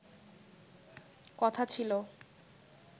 কথা ছিল